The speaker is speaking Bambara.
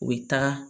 U bɛ taga